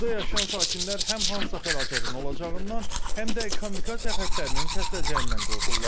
Burda yaşayan sakinlər həm hansısa fəlakətin olacağından, həm də kommunikasiya xəttlərinin kəsiləcəyindən qorxurlar.